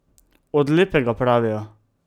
Od lepega, pravijo.